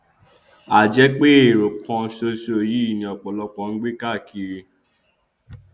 a jẹ pé ẹrọ kan ṣoṣo yìí ni ọpọlọpọ ń gbé káàkiri